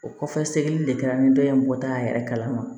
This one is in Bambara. O kɔfɛ sɛgɛ sɛgɛli de kɛra ni dɔ ye moto y'an yɛrɛ kalama